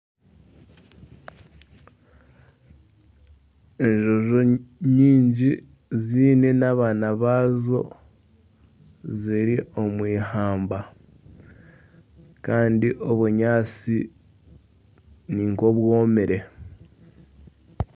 Enjojo nyingi ziine n'abaana baazo ziri omu eihamba. Kandi obunyaatsi ni nk'obwomire.